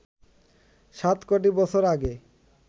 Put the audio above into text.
৭ কোটি বছর আগে